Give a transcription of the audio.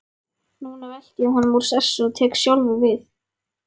Núna velti ég honum úr sessi og tek sjálfur við.